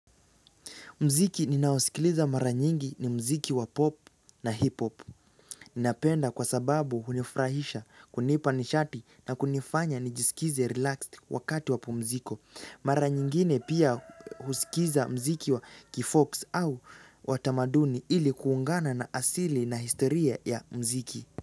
Muziki ninaosikiliza mara nyingi ni muziki wa pop na hip-hop. Ninapenda kwa sababu hunifrahisha kunipa nishati na kunifanya nijisikize relaxed wakati wa pumziko. Mara nyingine pia husikiza muziki wa kifox au watamaduni ili kuungana na asili na historia ya muziki.